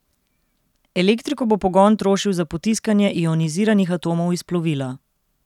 Elektriko bo pogon trošil za potiskanje ioniziranih atomov iz plovila.